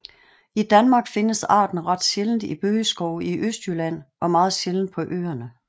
I Danmark findes arten ret sjældent i bøgeskove i Østjylland og meget sjældent på Øerne